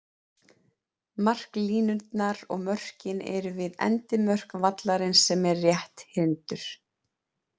Marklínurnar og mörkin eru við endimörk vallarins sem er rétthyrndur.